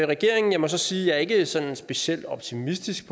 regeringen jeg må så sige at jeg ikke er sådan specielt optimistisk